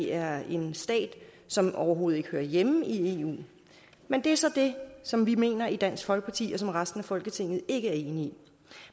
er en stat som overhovedet ikke hører hjemme i eu men det er så det som vi mener i dansk folkeparti og som resten af folketinget ikke er enige i